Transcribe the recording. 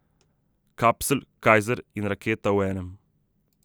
Kapsl, Kajzer in raketa v enem.